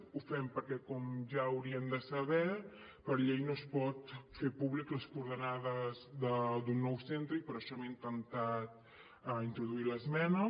ho fem perquè com ja haurien de saber per llei no es poden fer públiques les coordenades d’un nou centre i per això hem intentat introduir l’esmena